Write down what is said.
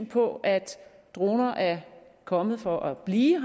på at droner er kommet for at blive